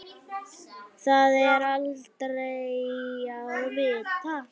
Það er aldrei að vita?